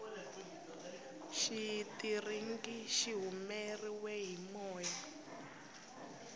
xitiringi xi humeriwe hi moya